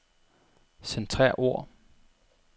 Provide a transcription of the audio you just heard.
Centrer ord.